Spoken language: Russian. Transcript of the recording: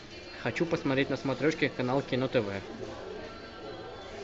хочу посмотреть на смотрешке канал кино тв